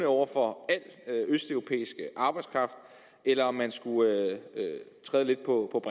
over for al østeuropæisk arbejdskraft eller om man skulle træde lidt på